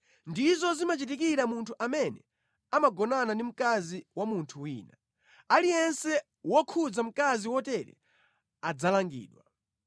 Ndizo zimachitikira munthu amene amagonana ndi mkazi wa munthu wina. Aliyense wokhudza mkazi wotere adzalangidwa.